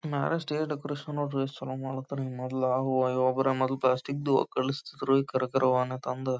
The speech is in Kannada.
ನಾವೇ ಸ್ಟೇಜ್ ಡೆಕೋರೇಷನ್ ಮಾಡ್ರೆ ಎಸ್ಟ್ ಚಲೋ ಮಾಡ್ಲತಾರ ಮೊದಲು ಹೂವ ಗಿವ ಮೊದಲು ಪ್ಲಾಸ್ಟಿಕ್ ದ ಕಳ್ಸ್ತೀದ್ರು ಈಗ ಕರ ಕರ ಹೂವನ್ ತಂದ್--